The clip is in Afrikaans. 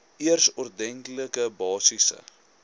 eers ordentlike basiese